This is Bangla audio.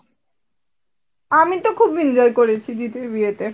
আমি তো খুব enjoy করেছি দিদির বিয়েতে